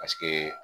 Paseke